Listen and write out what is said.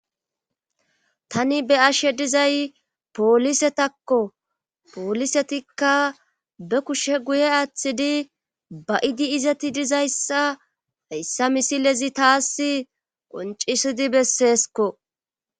tani be'ashe dizay poolisetakko poolisetikka be kushe guye aaththidi ba idi izeti dizayssa hayssa misilezi taas qoncisidi besseesko